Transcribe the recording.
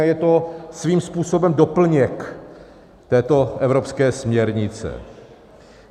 A je to svým způsobem doplněk této evropské směrnice.